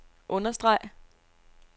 understreg